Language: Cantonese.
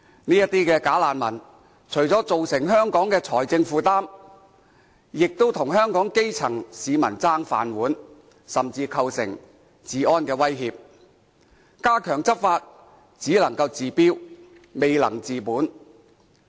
這些"假難民"除了增加香港財政負擔，亦跟香港基層市民爭"飯碗"，甚至構成治安威脅，加強執法只能夠治標，未能治本。